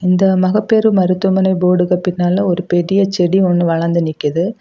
இந்த மகப்பேறு மருத்துவமனை போர்டுக்கு பின்னால ஒரு பெரிய செடி ஒன்னு வளர்ந்து நிக்குது.